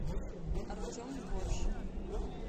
артем борщ